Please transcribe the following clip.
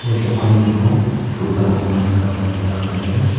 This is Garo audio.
ia dokanni ning·o do·garangkoba nikatna gita man·enga.